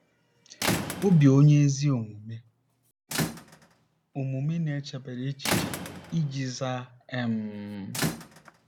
“Obi onye ezi omume omume na-echebara echiche iji zaa.” um